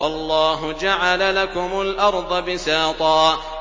وَاللَّهُ جَعَلَ لَكُمُ الْأَرْضَ بِسَاطًا